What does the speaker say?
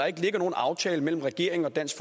ikke ligger nogen aftale mellem regeringen og dansk